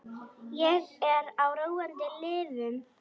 Ég er á róandi lyfjum.